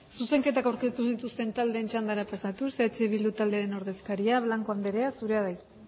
zuzenketak aurkeztu dituzten taldeen txandara pasatuz eh bildu taldearen ordezkaria blanco andrea zurea da hitza